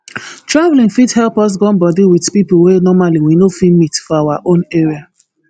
traveling fit help us gum body with people wey normally we no fit meet for our own area